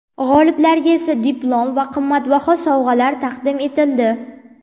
G‘oliblarga esa diplom va qimmatbaho sovg‘alar taqdim etildi.